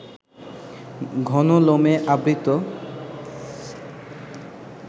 ঘন লোমে আবৃত